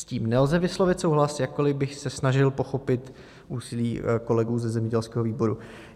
S tím nelze vyslovit souhlas, jakkoliv bych se snažil pochopit úsilí kolegů ze zemědělského výboru.